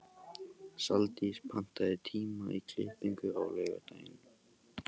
Saldís, pantaðu tíma í klippingu á laugardaginn.